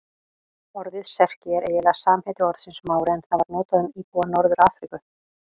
Orðið Serki er eiginlega samheiti orðsins Mári en það var notað um íbúa Norður-Afríku.